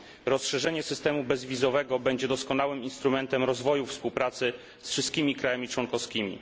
Rozszerzenie systemu bezwizowego będzie doskonałym instrumentem rozwoju współpracy z wszystkimi krajami członkowskimi.